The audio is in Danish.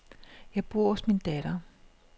Jeg bor hos min datter.